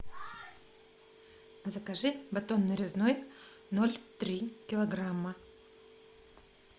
закажи батон нарезной ноль три килограмма